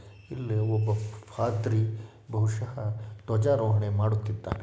ಇಲ್ಲಿ ಒಬ್ಬ ಪಾದ್ರಿ ಬಹುಶಃ ಧ್ವಜಾರೋಹಣ ಮಾಡುತ್ತಿದ್ದಾನೆ.